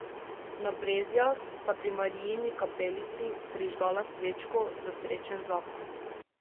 Na Brezjah sta pri Marijini kapelici prižgala svečko za srečen zakon.